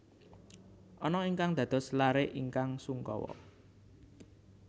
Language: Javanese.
Anna ingkang dados laré ingkang sungkawa